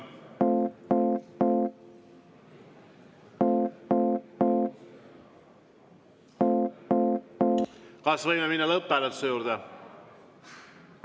Kas võime minna lõpphääletuse juurde?